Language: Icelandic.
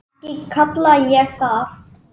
Ekki kalla ég það.